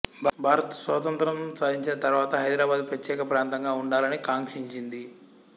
భారత్ స్వాతంత్ర్యం సాధించిన తరువాత హైదరాబాదు ప్రత్యేక ప్రాంతంగా వుండాలని కాంక్షించింది